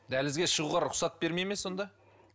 дәлізге шығуға рұхсат бермей ме сонда